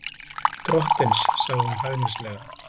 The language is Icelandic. Drottins, sagði hún hæðnislega.